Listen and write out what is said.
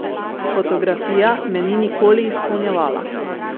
Fotografija me ni nikoli izpolnjevala.